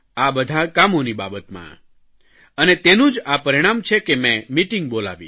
આ બધાં કામોની બાબતમાં અને તેનું જ આ પરિણામ છે કે મેં મીટીંગ બોલાવી